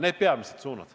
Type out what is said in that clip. Need on peamised suunad.